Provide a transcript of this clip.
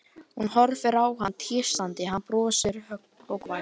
Hún horfir á hann tístandi, hann brosir, hógvær.